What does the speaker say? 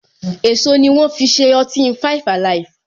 Èso ni wọn fi ṣe ọtí five alive.